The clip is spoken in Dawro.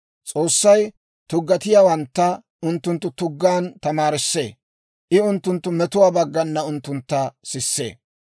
S'oossay tuggatiyaawantta unttunttu tuggaan tamaarissee; I unttunttu metuwaa baggana unttuntta sissee.